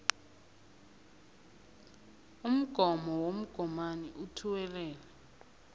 umgomo womgomani othuwelela